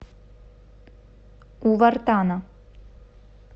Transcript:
у вартана